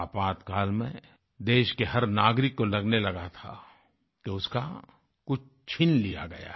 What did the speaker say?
आपातकाल में देश के हर नागरिक को लगने लगा था कि उसका कुछ छीन लिया गया है